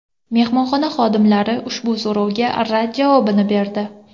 Mehmonxona xodimlari ushbu so‘rovga rad javobini berdi.